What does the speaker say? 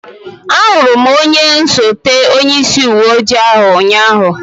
Ahụrụ m onye osote onyeisi uwe ojii ụnyaahụ.